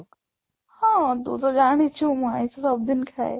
ହଁ, ତୁ ତ ଜାଣିଚୁ ମୁଁ ଆଇଁଷ ସବୁ ଦିନ ଖାଏ